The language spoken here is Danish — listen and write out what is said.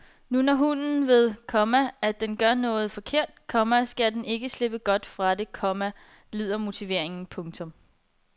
Når nu hunden ved, komma at den gør noget forkert, komma skal den ikke slippe godt fra det, komma lyder motiveringen. punktum